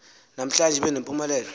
namhlanje ibe nempumelelo